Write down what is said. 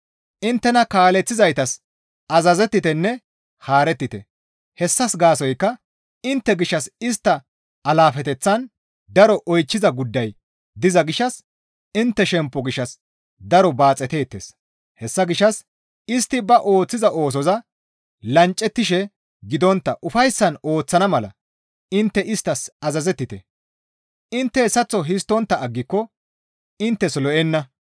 Inttena kaaleththizaytas azazettitenne haarettite; hessas gaasoykka intte gishshas istta alaafeteththan daro oychchiza gudday diza gishshas intte shemppo gishshas daro baaxeteettes; hessa gishshas istti ba ooththiza oosoza lancettishe gidontta ufayssan ooththana mala intte isttas azazettite. Intte hessaththo histtontta aggiko inttes lo7enna.